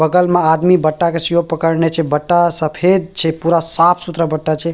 बगल में आदमी बटा के सिरों पकड़ने छै बटा सफ़ेद छै पूरा साफ़-सुथरा बटा छै।